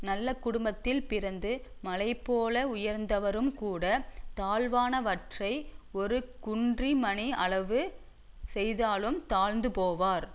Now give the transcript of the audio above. நல்ல குடும்பத்தில் பிறந்து மலைபோல உயர்ந்தவரும்கூட தாழ்வானவற்றை ஒரு குன்றிமணி அளவு செய்தாலும் தாழ்ந்து போவார்